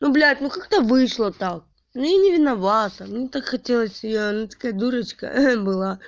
ну блядь ну как-то вышло так ну я не виновата мне так хотелось её она такая дурочка была